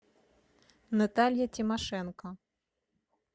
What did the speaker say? наталья тимошенко